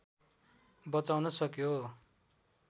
बचाउन सक्यो